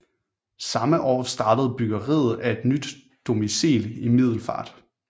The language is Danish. Samme år startede byggeriet af nyt domicil i Middelfart